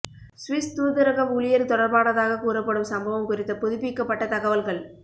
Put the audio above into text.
Swiss தூதரக ஊழியர் தொடர்பானதாகக் கூறப்படும் சம்பவம் குறித்த புதுப்பிக்கப்பட்ட தகவல்கள்